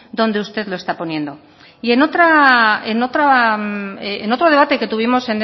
donde usted lo está poniendo y en otro debate que tuvimos